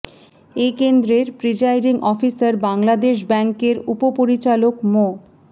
এ কেন্দ্রের presiding officer Bangladesh ব্যাংকের উপ পরিচালক মো